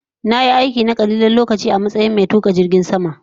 Na yi aiki na kalilan lokaci a matsayin mai isar da sako a filin jirgin sama